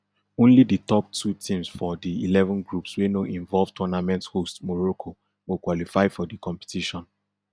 only di top two teams for di eleven groups wey no involve tournament hosts morocco go qualify for di competition